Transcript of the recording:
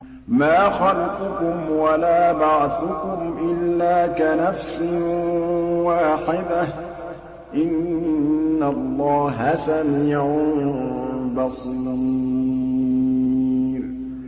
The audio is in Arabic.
مَّا خَلْقُكُمْ وَلَا بَعْثُكُمْ إِلَّا كَنَفْسٍ وَاحِدَةٍ ۗ إِنَّ اللَّهَ سَمِيعٌ بَصِيرٌ